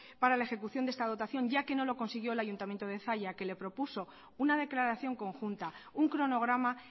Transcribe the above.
para la ejecución de esta dotación ya que no lo consiguió el ayuntamiento de zalla que le propuso una declaración conjunta un cronograma